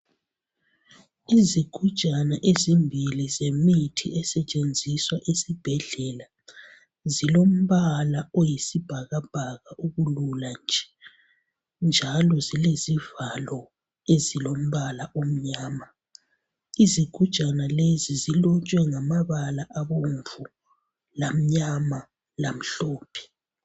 Izigujana ezimbili zemithi esetshenziswa esibhedlela zilombala oyisibhakabhaka okulula nje njalo zilezivalo ezilombala omnyama. Izigujana lezi zilotshwe ngamabala abomvu, lamnyama lamhlophe.